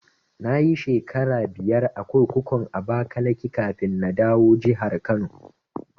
Nayi shekara biyar a kurkukun Abakaliki kafin na dawo jahar Kano